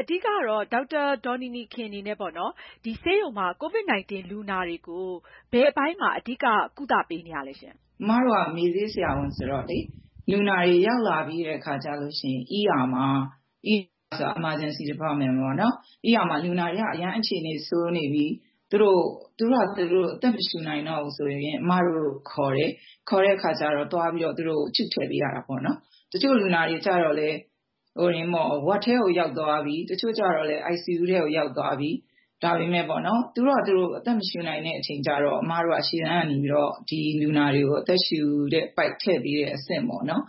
အဓိကတော့ ဒေါက်တာ ဒေါ်နီနီခင် အနေနဲ့ ဆေးရုံမှာ COVID-19 လူနာတွေကို ဘယ်အပိုင်းမှာ အဓိက ကုသပေးနေတာပါလဲရှင့်။ ဒေါက်တာ ဒေါ်နီနီခင်။ ။ ကျမက မေ့ဆေးဆရာဝန်ဆိုတော့ လူနာတွေ ရောက်လာပြီးတဲ့အခါကျရင် Emergency Department မှာ လူနာတွေ အရမ်းအခြေအနေ ဆိုးနေပြီ သူတို့ဟာ သူတို့ အသက်မရှုနိုင်တော့ဘူးဆိုရင် အမတို့ကို ခေါ်တယ်။ ခေါ်တဲ့အခါကျတော့ သွားပြီးတော့ သူတို့ကို tube ထည့်ပေးရတာပေါ့နော် ။ တချို့လူနာတွေကလည်း ward ထဲကို ရောက်သွားပြီ။ တချို့ကလည်း ICU ထဲကို ရောက်သွားပြီ ဒါပေမယ့် သူတို့ဟာသူတို့ အသက်မရှုနိုင်တဲ့အချိန်ကျတော့ အမတို့က ဒီလူနာတွေကို အသက်ရှုတဲ့ပိုက် ထည့်ပေးတဲ့ အဆင့်ပေါ့နော်